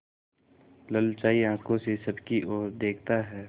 ललचाई आँखों से सबकी और देखता है